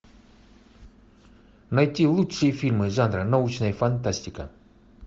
найти лучшие фильмы жанра научная фантастика